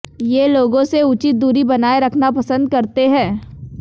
ये लोगों से उचित दूरी बनाये रखना पसन्द करते है